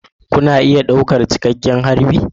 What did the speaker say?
Kuna iya ɗaukar cikakken harbi